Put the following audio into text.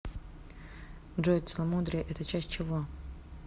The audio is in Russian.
джой целомудрие это часть чего